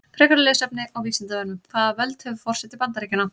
Frekara lesefni á Vísindavefnum: Hvaða völd hefur forseti Bandaríkjanna?